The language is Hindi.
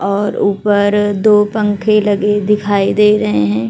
और ऊपर दो पंखे लगे दिखाई दे रहे है।